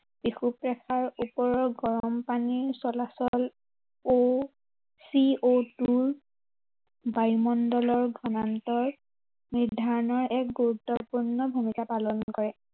বিষুৱ ৰেখাৰ ওপৰৰ গৰম পানীৰ চলাচল o, c o two ৰ বায়ুমণ্ডলৰ ঘমান্তৰ নিৰ্ধাৰণৰ এক গুৰুত্বপূৰ্ণ ভূমিকা পালন কৰে।